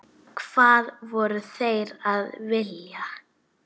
Hvað voru þeir að vilja?